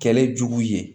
Kɛlɛ jugu ye